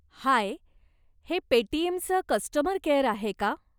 हाय, हे पेटीएमचं customer care आहे का ?